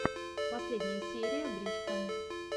последняя серия брич ка